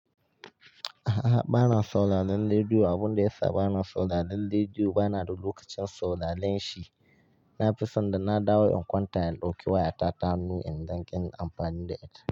A'a, bana sauraron rediyo. Abun da yasa bana sauraron rediyo bana da lokacin sauraron shi. Na fi son da na dawo in kwanta in ɗauki wayata ta hannu in dan gin amfani da ita.